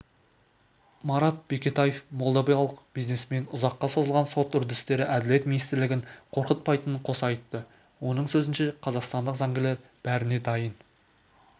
марат бекетаев молдавиялық бизнесменмен ұзаққа созылған сот үрдістері әділет министрлігін қорқытпайтынын қоса айтты оның сөзінше қазақстандық заңгерлер бәріне дайын